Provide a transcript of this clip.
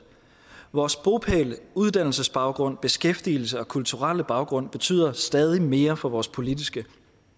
vores bopæl uddannelsesbaggrund beskæftigelse og kulturelle baggrund betyder stadig mere for vores politiske